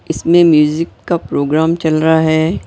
इसमें म्यूजिक का प्रोग्राम चल रहा है।